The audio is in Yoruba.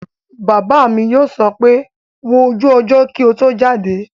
Bàbá mi yóò sọ pé 'wo ojú ọjọ́ kí o tó jáde'